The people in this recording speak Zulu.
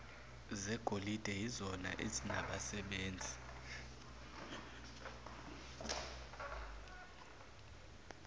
zegolide yizona ezinabasebenzi